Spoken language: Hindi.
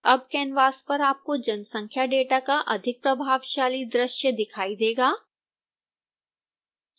अब कैनवास पर आपको जनसंख्या डेटा का अधिक प्रभावशाली दृश्य दिखाई देगा